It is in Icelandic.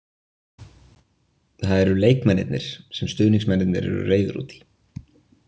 Það eru leikmennirnir sem stuðningsmennirnir eru reiðir út í.